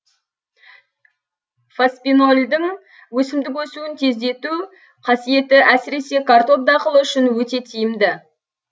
фоспинолдың өсімдік өсуін тездету қасиеті әсіресе картоп дақылы үшін өте тиімді